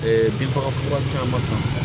binfagalan caman san